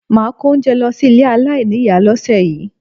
Máà kó oúnjẹ lọ sí ilé aláìníìyá lọ́sẹ̀ yìí